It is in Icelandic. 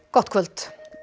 gott kvöld